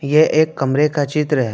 यह एक कमरे का चित्र है।